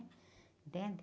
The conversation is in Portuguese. Entende?